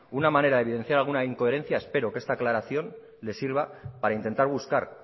una manera de evidenciar alguna incoherencia espero que esta aclaración le sirva para intentar buscar